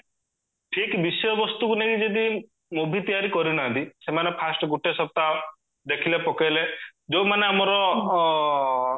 ଠିକ ବିଷୟ ବସ୍ତୁକୁ ନେଇକି ଯଦି movie ତିଆରି କରିନାହାନ୍ତି ସେମାନେ first ଗୋଟେ ସପ୍ତାହ ଦେଖିଲେ ପକେଇଲେ ଯୋଉମାନେ ଆମର ଅ